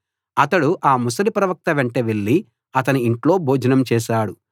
అతడు ఆ ముసలి ప్రవక్త వెంట వెళ్లి అతని ఇంట్లో భోజనం చేశాడు